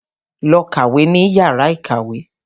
Lọ kàwé ní yàrá ìkàwé.